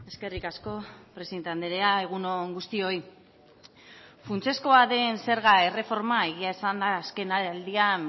eskerrik asko presidente andrea egun on guztioi funtsezkoa den zerga erreforma egia esanda azken aldian